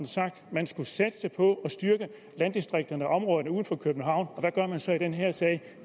sagt at man skulle satse på at styrke landdistrikterne og områderne udenfor københavn og hvad gør man så i den her sag